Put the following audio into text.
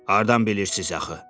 Hardan bilirsiz axı?